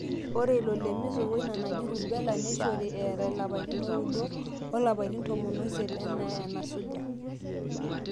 ore ilo le measles oina naji rubella neishori eeta ilapaitin ooudo olapaitin tomon oisiet enaa enasuja